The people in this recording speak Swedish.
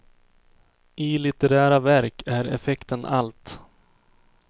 I litterära verk är effekten allt.